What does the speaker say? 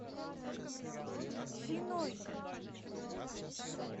финой